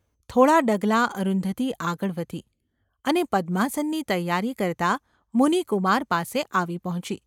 થોડાં ડગલાં અરુંધતી આગળ વધી અને પદ્માસનની તૈયારી કરતા મુનિ કુમાર પાસે આવી પહોંચી.